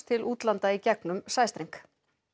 til útlanda í gegn um sæstreng